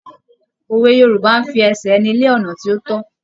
Òwe Yorùbá ń fi ẹsẹ̀ ẹni lé ọ̀nà tí ó tọ́.